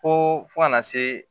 Fo fo kana se